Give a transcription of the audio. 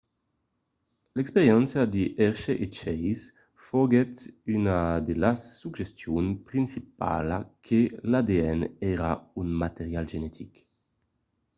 l'experiéncia de hershey e chase foguèt una de las suggestions principalas que l'adn èra un material genetic